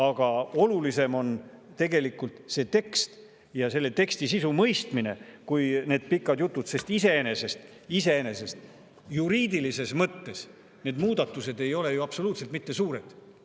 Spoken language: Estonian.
Aga olulisem on tegelikult see tekst ja selle teksti sisu mõistmine kui need pikad jutud, sest iseenesest juriidilises mõttes ei ole need muudatused ju absoluutselt mitte suured.